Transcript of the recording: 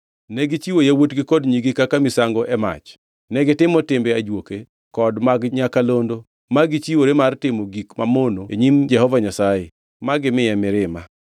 Negichiwo yawuotgi kod nyigi kaka misango e mach. Negitimo timbe ajuoke kod mag nyakalondo ma gichiwore mar timo gik mamono e nyim Jehova Nyasaye, ma gimiye mirima.